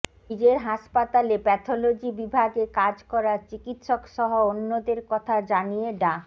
নিজের হাসপাতালে প্যাথলজি বিভাগে কাজ করা চিকিৎসকসহ অন্যদের কথা জানিয়ে ডা